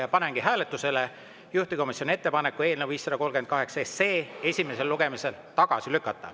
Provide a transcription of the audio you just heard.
Ja panengi hääletusele juhtivkomisjoni ettepaneku eelnõu 538 esimesel lugemisel tagasi lükata.